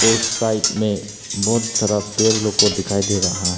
और साइड में बहुत सारा पेड़ लोग को दिखाई दे रहा है।